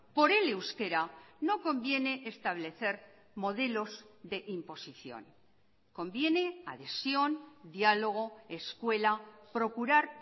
por el euskera no conviene establecer modelos de imposición conviene adhesión diálogo escuela procurar